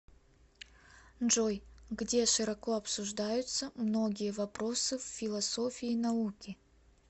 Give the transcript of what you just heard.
джой где широко обсуждаются многие вопросы в философии науки